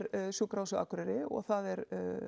Sjúkrahúsið á Akureyri og það er